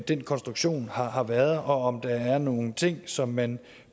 den konstruktion har har været og om der er nogle ting som man